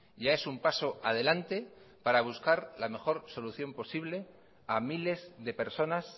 ya es un paso adelante para buscar la mejor solución posible a miles de personas